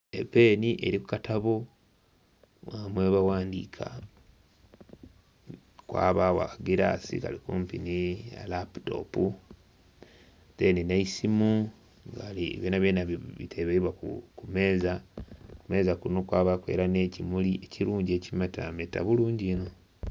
Epeeni eli ku katabo mwebaghandiika. Ghabagho akagilaasi kali kumpi nhi laputopu. Deeni nh'eisimu nga byonabyona biteleibwa ku meeza. Ku meeza kuno kwabaaku era nh'ekimuli ekirungi ekimetameta bulungi inho.